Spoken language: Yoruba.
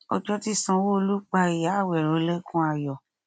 ọjọ tí sanwóolu pa ìyá àwérò lẹkùn ayọ